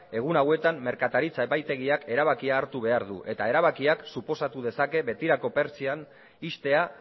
egun hauetan merkataritza epaitegiak erabakia hartu behar du eta erabakiak suposatu dezake betirako pertsiana ixtea